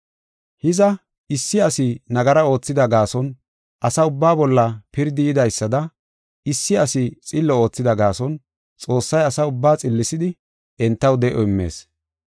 Hiza, issi asi nagara oothida gaason asa ubbaa bolla pirdi yidaysada issi asi xillo oothida gaason, Xoossay ase ubbaa xillisidi entaw de7o immees.